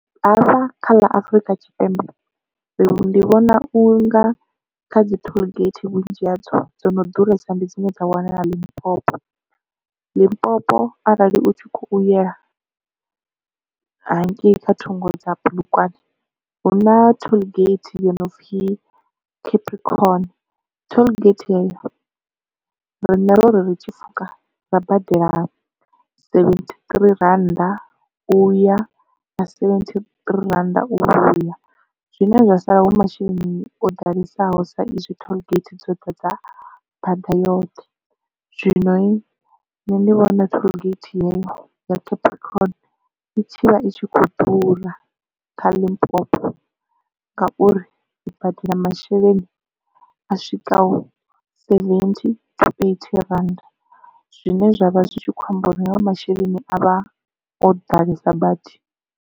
Hafha kha ḽa afrika tshipembe ndi vhona u nga kha dzi tollgate vhunzhi hadzo dzo no ḓuresa ndi dzine dza wanala Limpopo. Limpopo arali u tshi khou yela hangei kha thungo dza bulugwane hu na tollgate yo no pfi Capricorn tollgate heyo rine ro ri tshipfuka ra badela seventhi ṱirii rannda u ya na seventhi ṱirii randa u vhuya zwine zwa sala hu masheleni o ḓalesaho sa izwi tollgate dzoṱhe dza bada yoṱhe zwino nṋe ndi vhona tollgate yeyo ya capricorn i tshivha itshi kho ḓura kha limpopo ngauri badela masheleni a swika seventy to eighty rand zwine zwavha zwi tshi khou amba uri hayo masheleni avha o ḓalesa badi.